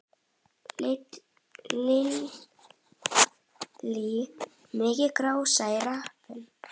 Lillý: Mikil gróska í rappinu?